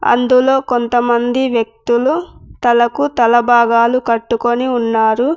అందులో కొంతమంది వ్యక్తులు తలకు తలభాగాలు కట్టుకొని ఉన్నారు.